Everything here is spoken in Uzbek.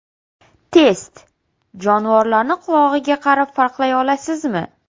Test: Jonivorlarni qulog‘iga qarab farqlay olasizmi?.